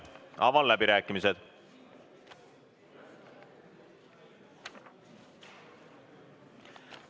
Avan läbirääkimised.